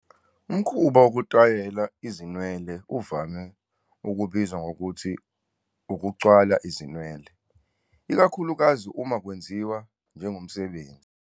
Umkhuba wokutayela izinwele uvame ukubizwa ngokuthi "ukucwala izinwele", ikakhulukazi uma kwenziwa njengomsebenzi.